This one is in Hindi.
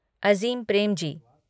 अज़ीम प्रेमजी